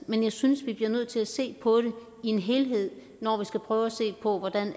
men jeg synes vi bliver nødt til at se på det i en helhed når vi skal prøve at se på hvordan